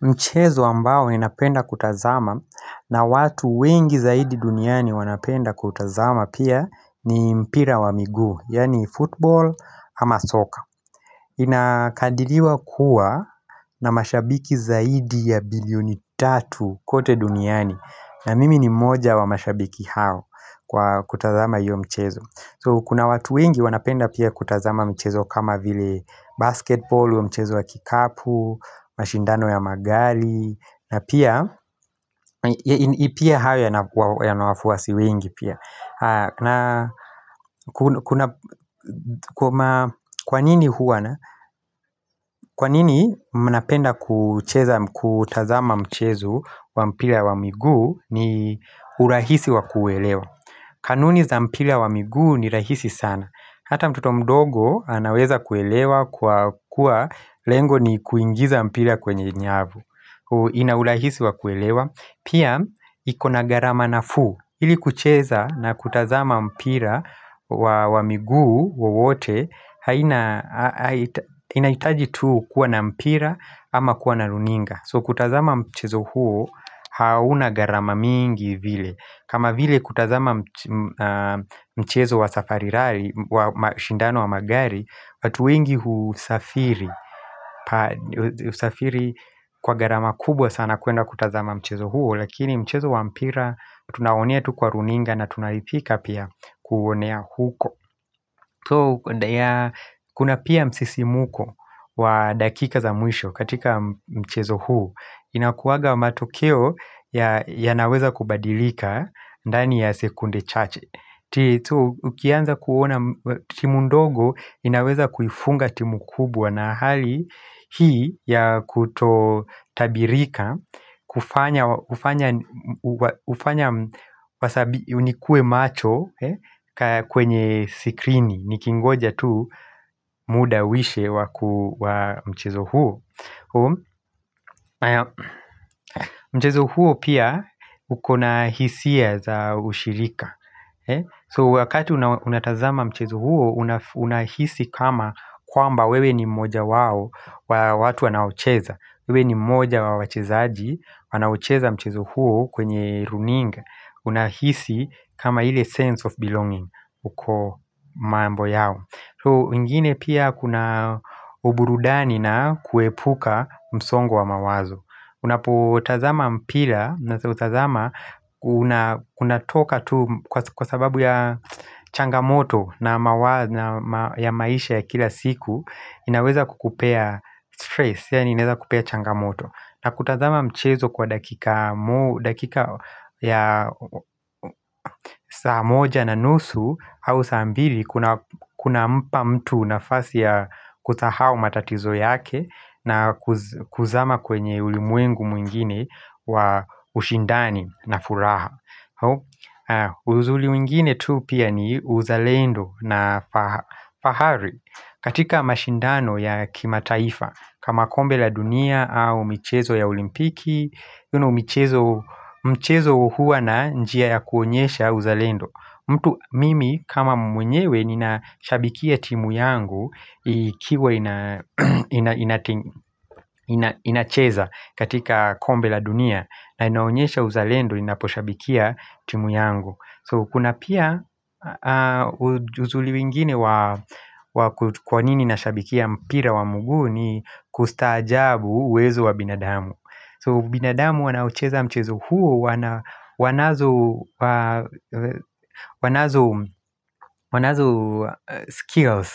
Mchezo ambao ninapenda kutazama na watu wengi zaidi duniani wanapenda kutazama pia ni mpira wa miguu yaani football ama soccer. Inakadiriwa kuwa na mashabiki zaidi ya bilioni tatu kote duniani. Na mimi ni mmoja wa mashabiki hao kwa kutazama hiyo mchezo. So kuna watu wengi wanapenda pia kutazama mchezo kama vile basketball, huo mchezo wa kikapu, mashindano ya magari na pia, ipia hayo yana wafuasi wengi pia Kwa nini huwa na? Kwa nini mnapenda kucheza kutazama mchezo wa mpila wa miguu ni urahisi wa kuelewa kanuni za mpila wa miguu ni rahisi sana Hata mtoto mdogo anaweza kuelewa kuwa lengo ni kuingiza mpira kwenye nyavu ina ulahisi wa kuelewa Pia ikona gharama nafuu ili kucheza na kutazama mpira wa miguu wowote Inaitaji tuu kuwa na mpira ama kuwa na runinga So kutazama mchezo huo hauna gharama mingi vile kama vile kutazama mchezo wa safari rari, wa mashindano wa magari watu wengi husafiri Husafiri kwa gharama kubwa sana kuenda kutazama mchezo huo Lakini mchezo wa mpira, tunaonea tu kwa runinga na tunaipika pia kuonea huko Kuna pia msisimko wa dakika za mwisho katika mchezo huo Inakuwaga matokeo yanaweza kubadilika ndani ya sekunde chache Titu ukianza kuona timu ndogo inaweza kuifunga timu kubwa na hali Hii ya kuto tabirika kufanya nikue macho kwenye sikrini Nikingoja tu muda uishe wa mchezo huo Mchezo huo pia ukona hisia za ushirika So wakati unatazama mchezo huo unahisi kama kwamba wewe ni mmoja wao wa watu wanaocheza wewe ni mmoja wa wachezaji wanaocheza mchezo huo kwenye runinga Unahisi kama ile sense of belonging uko mambo yao So ingine pia kuna uburudani na kuepuka msongo wa mawazo Unapotazama mpila, unatoka tu kwa sababu ya changamoto na maisha ya kila siku inaweza kukupea stress, yaani inaeza kupea changamoto na kutazama mchezo kwa dakika ya saa moja na nusu au saa mbili kunampa mtu nafasi ya kusahau matatizo yake na kuzama kwenye ulimwengu mwingine wa ushindani na furaha uzuli mwengine tu pia ni uzalendo na fahari katika mashindano ya kimataifa kama kombe la dunia au michezo ya olimpiki Uno mchezo huwa na njia ya kuonyesha uzalendo mtu mimi kama mwenyewe ninashabikia timu yangu ikiwa inacheza katika kombe la dunia na inaonyesha uzalendo ninaposhabikia timu yangu So kuna pia uzuli wengine kwa nini nashabikia mpira wa mguu ni kustaajabu uwezo wa binadamu So binadamu wanaocheza mchezo huo wanazo skills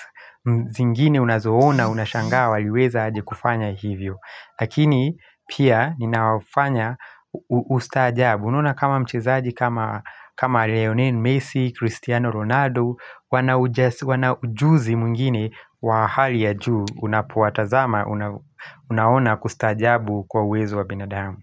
zingine unazoona unashangaa waliweza aje kufanya hivyo Lakini pia ninawafanya ustaajabu Unaona kama mchezaji kama Leonin, Messi Cristiano, Ronaldo wana ujuzi mwengine wa hali ya juu Unapowatazama, unaona kustaajabu kwa uwezo wa binadamu.